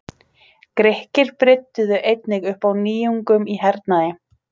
Grikkir brydduðu einnig upp á nýjungum í hernaði.